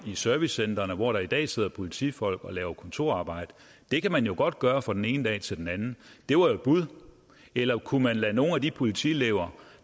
servicecentrene hvor der i dag sidder politifolk og laver kontorarbejde det kan man jo godt gøre fra den ene dag til den anden det var jo et bud eller kunne man lade nogle af de politielever